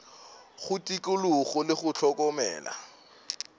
go tikologo le go hlokomela